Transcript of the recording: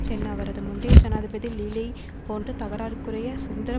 சென் அவரது முந்தைய ஜனாதிபதி லீலைப் போன்று தகராறுக்குரைய சுந்தர